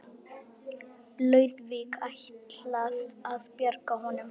Lúðvík ætlað að bjarga honum.